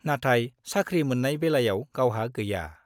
नाथाय साख्रि मोन्नाय बेलायाव गावहा गैया।